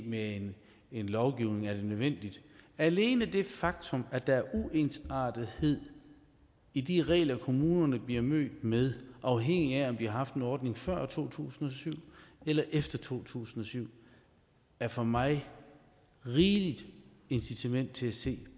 med en lovgivning er nødvendigt alene det faktum at der er uensartethed i de regler kommunerne bliver mødt med afhængig af om de har haft en ordning før år to tusind og syv eller efter to tusind og syv er for mig rigeligt incitament til at se